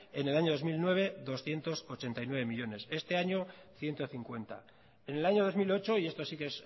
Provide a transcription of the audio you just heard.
en el año dos mil nueve doscientos ochenta y nueve millónes este año ciento cincuenta en el año dos mil ocho y esto sí que